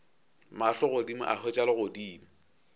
mahlo godimo a hwetša legodimo